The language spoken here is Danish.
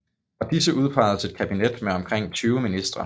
Fra disse udpeges et kabinet med omkring 20 ministre